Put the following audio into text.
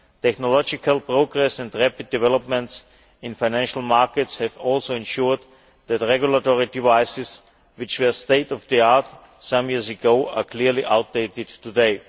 Technological progress and rapid developments in financial markets have also ensured that regulatory devices which were state of the art some years ago are clearly outdated today.